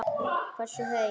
Hversu heil